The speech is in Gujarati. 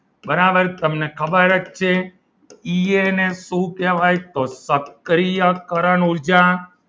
બરાબર તમને ખબર જ છે એ એને શું કહેવાય તો સક્રિયકરણ ઊર્જા